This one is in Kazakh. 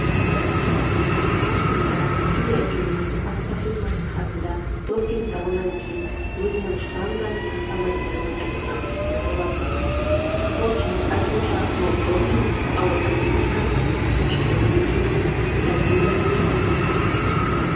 маусымда илья ильин баспасөз-маслихатында допинг дауынан кейін өзінің штанганы тастамайтындығын айтқан болатын спортшының айтуынша бұл допинг ауыр атлетиканы тұншықтырғысы келетін әлдебіреулерге